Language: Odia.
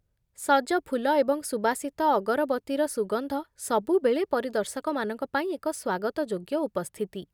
ସଜ ଫୁଲ ଏବଂ ସୁବାସିତ ଅଗରବତିର ସୁଗନ୍ଧ ସବୁବେଳେ ପରିଦର୍ଶକମାନଙ୍କ ପାଇଁ ଏକ ସ୍ୱାଗତଯୋଗ୍ୟ ଉପସ୍ଥିତି।